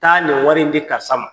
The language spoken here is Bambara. Taa nin wari in di karisa ma.